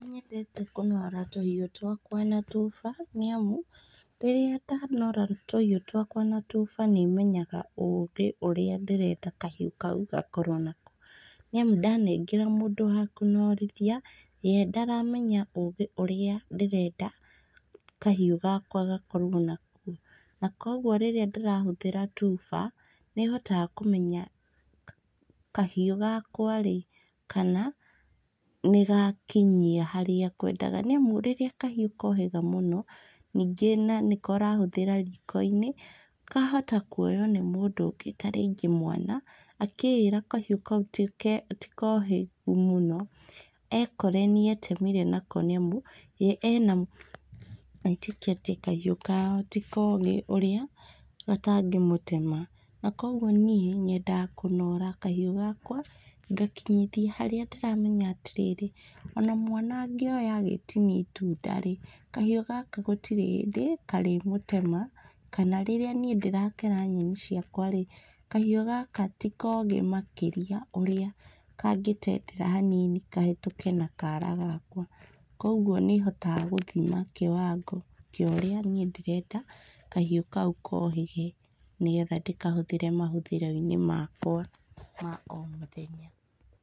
Nĩnyendete kũnora tũhiũ twakwa na tuba nĩamu rĩrĩa ndanora tũhiũ twakwa na tuba nĩmenyaga ũgĩ ũrĩa ndĩrenda kahiũ kau gakorwo naguo, nĩamu ndanengera mũndũ wa kũnorithia ye ndaramenya ũgĩ ũrĩa ndĩrenda kahiũ gakwa gakorwo naguo, na koguo rĩrĩa ndĩrahũthĩra tuba, nĩhotaga kũmenya ka kahiũ gakwa rĩ, kana nĩgakinyia harĩa ngwendaga, nĩamu rĩrĩa kahiũ kohĩga mũno, ningĩ na nĩko ũrahũthĩra riko-inĩ, kahota kuywo nĩ mũndũ ũngĩ tarĩngĩ mwana, akĩĩra kahiũ kau tike tikohĩgu mũno, ekore nĩetemire nako nĩamu, etĩkĩtie kahiũ kao ti kogĩ ũrĩa gatangĩmũtema, na koguo nyendaga lunora kahiũ gakwa, ngakinyithia harĩa ndĩramenya atĩrĩrĩ, ona mwana angĩoya agĩtinia itunda rĩ, kahiũ gaka gatirĩ hĩndĩ karĩmũtema, kana rĩrĩa niĩ ndĩrakera nyeni ciakwa rĩ, kahiũ gaka ti kogĩ makĩria ũrĩa kangĩtendera hanini kahĩtũke na kara gakwa, koguo nĩhotaga gũthima kĩwango kĩa ũrĩa niĩ ndĩrenda kahiũ kau kohĩge nĩgetha ndĩkahũthĩre mahúthĩro-inĩ makwa ma o mũthenya.